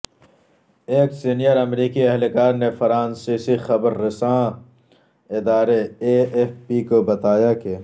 ایک سینیئر امریکی اہلکار نے فرانسیسی خبر رسان ادارے اے ایف پی کو بتایا کہ